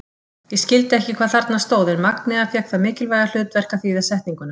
Ég skildi ekki hvað þarna stóð en Magnea fékk það mikilvæga hlutverk að þýða setninguna.